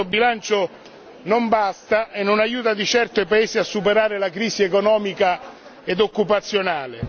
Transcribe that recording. Questo bilancio non basta e non aiuta di certo i paesi a superare la crisi economica e occupazionale.